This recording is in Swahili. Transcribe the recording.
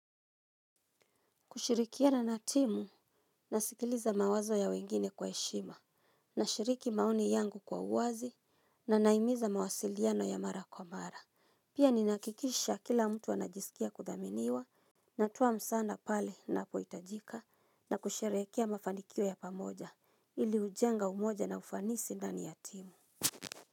Kushirikiana na timu, nasikiliza mawazo ya wengine kwa heshima, nashiriki maoni yangu kwa uwazi, na nahimiza mawasiliano ya mara kwa mara. Pia ninaakikisha kila mtu anajisikia kudhaminiwa, natuwa msanda pale na poitajika, na kusherehekea mafanikio ya pamoja, ili ujenga umoja na ufanisi ndani ya timu.